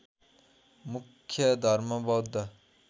मुख्य धर्म बौद्ध